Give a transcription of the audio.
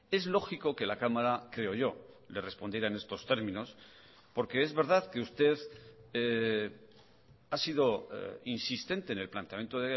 es lógico que la cámara creo yo le respondiera en estos términos porque es verdad que usted ha sido insistente en el planteamiento